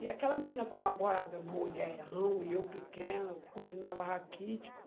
E aquela menina, como agora mulherão, e eu pequeno, continuava raquítico.